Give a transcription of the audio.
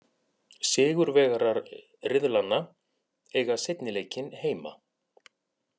Sigurvegarar riðlanna eiga seinni leikinn heima.